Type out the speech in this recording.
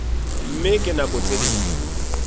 mme ka nako tse ding